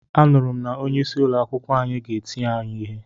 Anuru m na onye isi ụlọ akwụkwọ anyi ga-eti anyi ihe.